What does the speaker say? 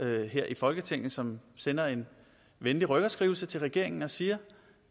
her i folketinget som sender en venlig rykkerskrivelse til regeringen og siger